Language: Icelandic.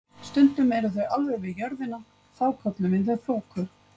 Stundum eru þau alveg við jörðina og þá köllum við þau þoku.